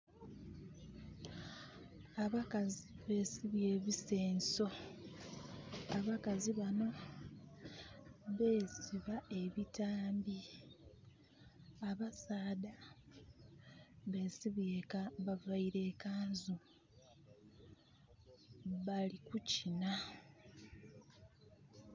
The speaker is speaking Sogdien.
Abakazi beesibye ebisenso. Abakazi bano beesiba ebitambi. Abasaadha bavaire e kanzu. Bali kukina.